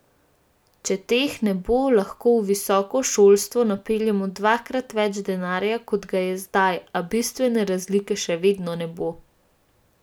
Če teh ne bo, lahko v visoko šolstvo napeljemo dvakrat več denarja, kot ga je zdaj, a bistvene razlike še vedno ne bo.